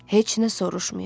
Heç nə soruşmayın.